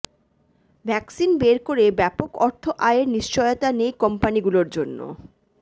vaccine বের করে ব্যাপক অর্থ আয়ের নিশ্চয়তা নেই কোম্পানিগুলোর জন্য